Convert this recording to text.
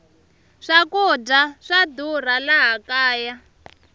swakudya swa durha laha kaya